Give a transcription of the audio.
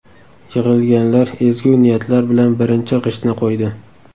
Yig‘ilganlar ezgu niyatlar bilan birinchi g‘ishtni qo‘ydi.